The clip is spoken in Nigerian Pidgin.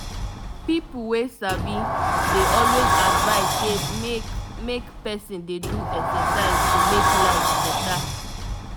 people wey sabi dey always advise say make make person dey do exercise to make life better.